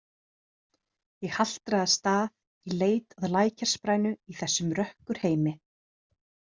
Ég haltraði af stað í leit að lækjarsprænu í þessum rökkurheimi.